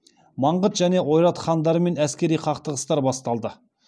маңғыт және ойрат хандарымен әскери қақтығыстар басталды